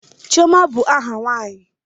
Chioma bụ aha nwanyi.